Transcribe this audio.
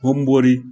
Hun bori